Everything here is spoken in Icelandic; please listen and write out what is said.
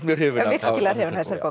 hrifin virkilega hrifin